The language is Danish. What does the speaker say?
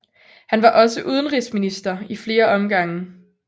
Han var også udenrigsminister i flere omgange